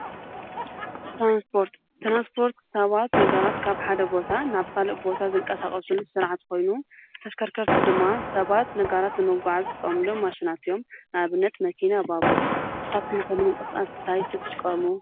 ትራንስፖርት : ትራንስፖርት ሰባት ነገራት ካብ ሓደ ቦታ ናብ ካሊእ ቦታ ዘንቀሳቀስሉ ስርዓት ኮይኑ ተሽከርከርቲ ድማ ሰባት ነገራት ንምጉዓዝ ዝጥቀምሎም ማሽናት እዮም ፡፡ንኣብነት መኪና፣ ባቡር ንስካትኩም ንምንቅስቃስ ታይ ትጥቀሙ?